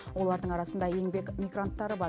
олардың арасында еңбек мигранттары бар